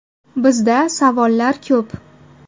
Bizda savollar ko‘p.